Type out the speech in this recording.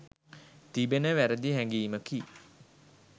තිබෙන වැරදි හැඟීමකි.